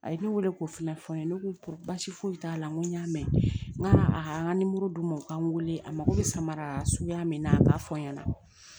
A ye ne weele k'o fana fɔ n ye ne ko baasi foyi t'a la n ko n y'a mɛn n k'a a nimoro d'u ma u ka n weele a ma ko bi samara suguya min na a b'a fɔ n ɲɛna